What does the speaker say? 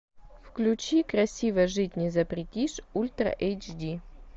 включи красиво жить не запретишь ультра эйч ди